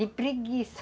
De preguiça.